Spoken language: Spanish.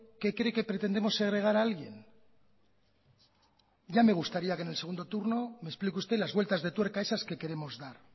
que cree que pretendemos segregar a alguien ya me gustaría que en segundo turno me explique usted las vueltas de tuerca esas que queremos dar